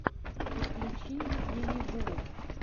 подключи лилибу